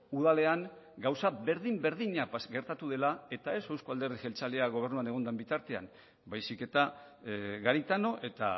udalean gauza berdin berdina gertatu dela eta ez euzko alderdi jeltzalea gobernuan egon den bitartean baizik eta garitano eta